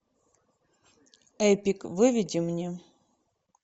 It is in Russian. эпик выведи мне